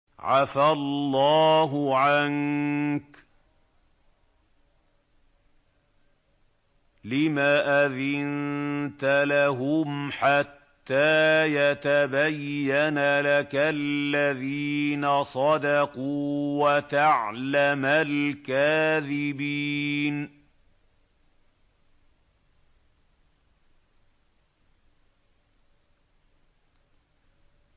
عَفَا اللَّهُ عَنكَ لِمَ أَذِنتَ لَهُمْ حَتَّىٰ يَتَبَيَّنَ لَكَ الَّذِينَ صَدَقُوا وَتَعْلَمَ الْكَاذِبِينَ